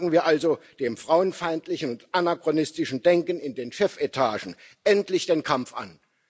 Sagen wir also dem frauenfeindlichen und anachronistischen Denken in den Chefetagen endlich den Kampf an!